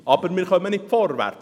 Doch kommen wir nicht vorwärts.